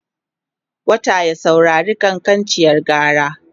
wata ya saurari kankancin gara?